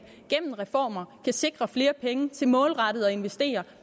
gennem reformer kan sikre flere penge til målrettet at investere